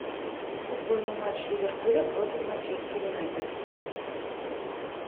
футбольный матч ливерпуля против манчестер юнайтед